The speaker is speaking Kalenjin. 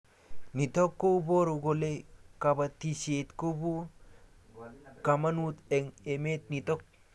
Nitok ko paru kole kabatishet ko po kamanut eng emet nitok